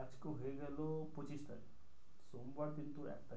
আজকে হয়ে গেলো পঁচিশ তারিখ সোমবার কিন্তু।